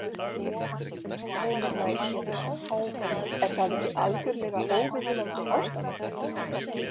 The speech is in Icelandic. Heimir Már Pétursson: Er það ekki algjörlega óviðunandi ástand?